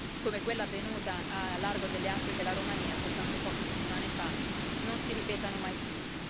come quella avvenuta al largo delle acque della Romania soltanto poche settimane fa, non si ripetano mai più.